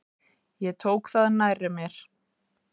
Ég tók það nærri mér.